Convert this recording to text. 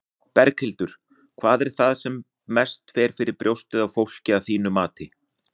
Berghildur: Hvað er það sem mest fer fyrir brjóstið á fólki, að þínu mati?